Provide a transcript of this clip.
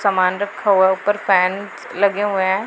सामान रखा हुआ है ऊपर फैन लगे हुए--